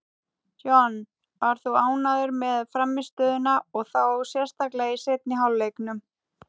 John var þó ánægður með frammistöðuna, og þá sérstaklega í seinni hálfleiknum.